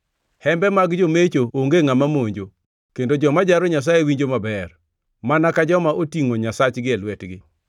Hembe mag jomecho onge ngʼama monjo, kendo joma jaro Nyasaye winjo maber, mana ka joma otingʼo nyasachgi e lwetgi.